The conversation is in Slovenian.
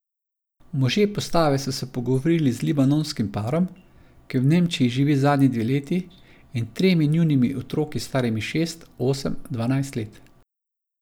Možje postave so se pogovorili z libanonskim parom, ki v Nemčiji živi zadnji dve leti, in tremi njunimi otroki starimi šest, osem in dvanajst let.